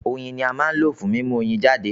Oyin ni à ń lò fún mímú Oyin jáde